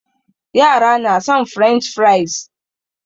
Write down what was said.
Yara na son french fries